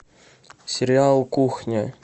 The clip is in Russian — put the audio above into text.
сериал кухня